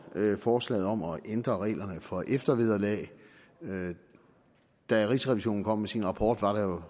forslaget om at ændre reglerne for eftervederlag da rigsrevisionen kom med sin rapport var der